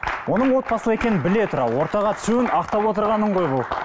оның отбасылы екенін біле тұра ортаға түсуін ақтап отырғаның ғой бұл